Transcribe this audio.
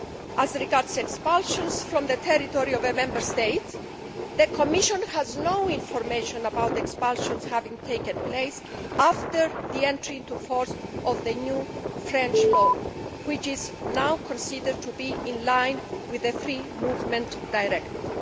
As regards expulsions from the territory of a Member State, the Commission has no information about expulsions having taken place after the entry into force of the new French law, which is now considered to be in line with the Free Movement Directive.